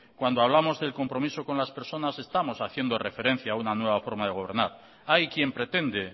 cuando hablamos del compromiso con las personas estamos haciendo referencia a una nueva forma de gobernar hay quien pretende